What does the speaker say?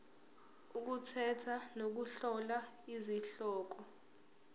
ukukhetha nokuhlola izihloko